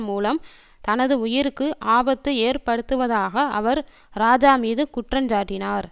மூலம் தனது உயிருக்கு ஆபத்து ஏற்படுத்துவதாக அவர் இராஜா மீது குற்றஞ்சாட்டினார்